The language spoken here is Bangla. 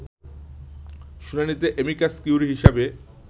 শুনানিতে অ্যামিকাস কিউরি হিসেবে